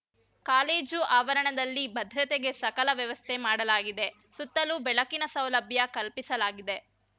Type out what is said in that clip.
college ಆವರಣದಲ್ಲಿ ಭದ್ರತೆಗೆ ಸಕಲ ವ್ಯವಸ್ಥೆ ಮಾಡಲಾಗಿದೆ ಸುತ್ತಲೂ ಬೆಳಕಿನ ಸೌಲಭ್ಯ ಕಲ್ಪಿಸಲಾಗಿದೆ